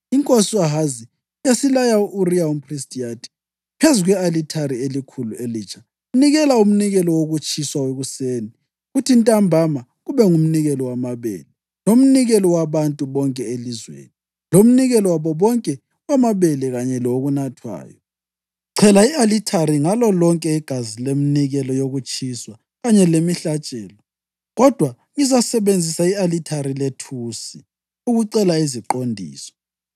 Inkosi u-Ahazi yasilaya u-Uriya umphristi yathi, “Phezu kwe-alithari elikhulu elitsha, nikela umnikelo wokutshiswa wekuseni kuthi ntambama kube ngumnikelo wamabele, lomnikelo wabantu bonke elizweni, lomnikelo wabo wonke wamabele kanye lowokunathwayo. Chela i-alithari ngalo lonke igazi leminikelo yokutshiswa kanye lemihlatshelo. Kodwa ngizasebenzisa i-alithari lethusi ukucela iziqondiso.”